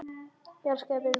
Ég elska þig, vinur minn.